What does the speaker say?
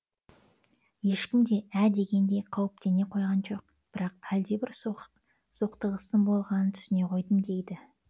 ешкім де ә дегенде қауіптене қойған жоқ бірақ әлдебір соқтығыстың болғанын түсіне қойдым дейді